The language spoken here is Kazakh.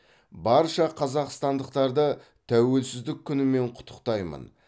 барша қазақстандықтарды тәуелсіздік күнімен құттықтаймын